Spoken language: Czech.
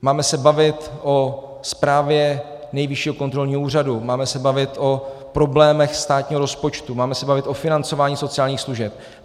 Máme se bavit o zprávě Nejvyššího kontrolního úřadu, máme se bavit o problémech státního rozpočtu, máme se bavit o financování sociálních služeb.